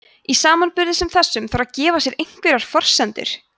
í samanburði sem þessum þarf að gefa sér einhverjar forsendur